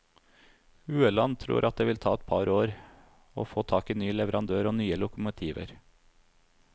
Ueland tror at det vil ta et par år å få tak i ny leverandør og nye lokomotiver.